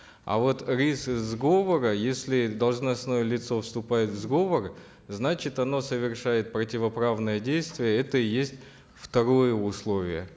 а вот риск сговора если должностное лицо вступает в сговор значит оно совершает противоправное действие это и есть второе условие